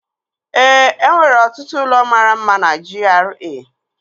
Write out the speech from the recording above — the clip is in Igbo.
Ee, enwere ọtụtụ ụlọ mara mma na GRA